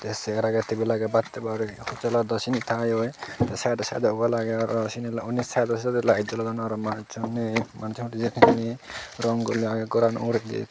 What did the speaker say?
tey cegar agey table agey bhat habar hotel lot seyani tangeyo sidey sidey wall agey aro unni sidey sidey lite jolodon aro manus so nay hodu jeyoun hejani goran rong gulley agey goran uguredi.